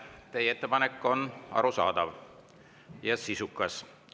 Teie ettepanek on arusaadav ja sisukas.